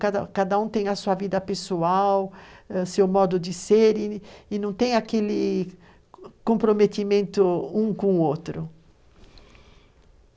Cada cada um tem a sua vida pessoal ah, seu modo de ser e não tem aquele comprometimento um com o outro.